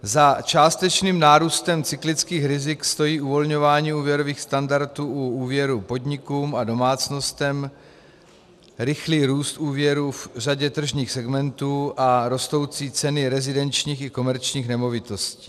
Za částečným nárůstem cyklických rizik stojí uvolňování úvěrových standardů u úvěrů podnikům a domácnostem, rychlý růst úvěrů v řadě tržních segmentů a rostoucí ceny rezidenčních i komerčních nemovitostí.